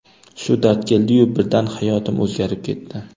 Shu dard keldiyu, birdan hayotim o‘zgarib ketdi.